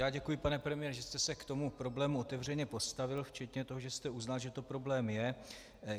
Já děkuji, pane premiére, že jste se k tomu problému otevřeně postavil, včetně toho, že jste uznal, že to problém je.